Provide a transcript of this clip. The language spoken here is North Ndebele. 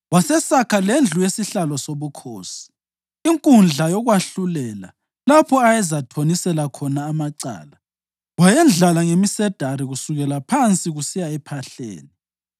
Wasesakha lendlu yesihlalo sobukhosi, iNkundla Yokwahlulela, lapho ayezathonisela khona amacala, wayendlala ngemisedari kusukela phansi kusiya ephahleni.